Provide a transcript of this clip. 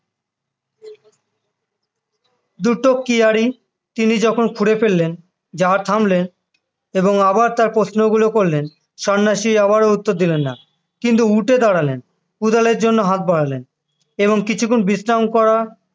দুটো কেয়ারী তিনি যখন খুঁড়ে ফেললেন যাহা থামলেন এবং আবার তার প্রশ্নগুলো করলেন সন্ন্যাসী আবারও উত্তর দিলেন না কিন্তু উঠে দাঁড়ালের কোদালের জন্য হাত বাড়ালেন এবং কিছুক্ষন বিশ্রাম করা